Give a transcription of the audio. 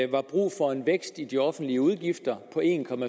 var brug for en vækst i de offentlige udgifter på en